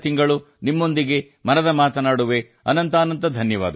ಮುಂದಿನ ತಿಂಗಳು ಮತ್ತೊಮ್ಮೆ ಮನ್ ಕಿ ಬಾತ್ ನಡೆಯಲಿದೆ